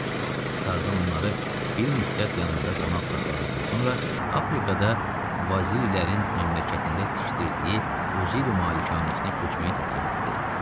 Tarzan onları bir müddət yanında qonaq saxladıqdan sonra Afrikada Vazirilərin məmləkətində tikdiyi Uziri malikanəsinə köçməyi təklif elətdi.